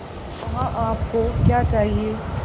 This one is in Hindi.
वहाँ आप को क्या चाहिए